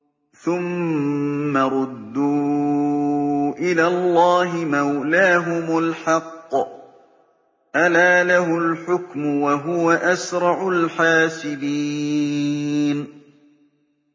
ثُمَّ رُدُّوا إِلَى اللَّهِ مَوْلَاهُمُ الْحَقِّ ۚ أَلَا لَهُ الْحُكْمُ وَهُوَ أَسْرَعُ الْحَاسِبِينَ